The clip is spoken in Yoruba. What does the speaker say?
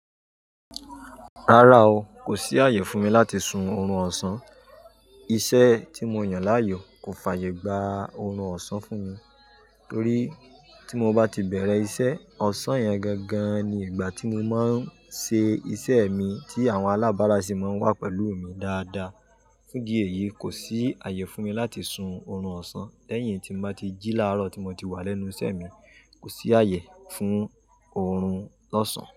Rárá o, kò sí àyè fún mi láti sun oorun ọ̀sán. Iṣẹ́ tí mo yàn láàyò kò fàyè gba oorun ọ̀sán fún mi. Torí tí mo bá ti bẹ̀rẹ̀ iṣẹ́, ọ̀sán yẹn gangan ni ìgbà tí mo máa ń ṣe iṣẹ́ mi tí àwọn alábárá sì máa ń wà pẹ̀lú mi dáadáa. Fún dìí èyí kò sí àyè fún mi láti sun oorun ọ̀sán lẹ́yìn tí n bá ti jí láàárọ̀ tí mo ti wà lẹ́nu iṣẹ́ mi. Kò sí àyè fún oorun lọ́sàn-án.